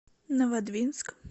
новодвинск